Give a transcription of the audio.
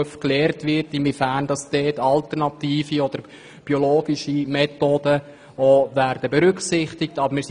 Sicher kann man auch überlegen, inwiefern dabei alternative und biologische Methoden berücksichtigt werden sollen.